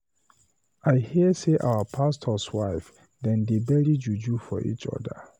I hear say our pastors wife dem they bury juju for each other.